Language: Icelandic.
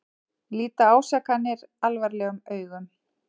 Líta ásakanir alvarlegum augum